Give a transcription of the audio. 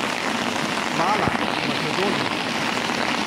Hvala, Makedonija!